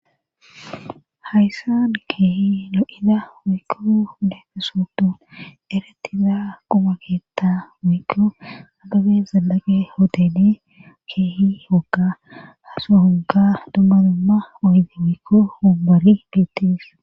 hayssan keehi lo7ida wikko leekesotu eretiza qubakeetta mikko agabe zalaqe hooteli keehi hoga haso hoga dumma dumma oydi mikko humbari biittis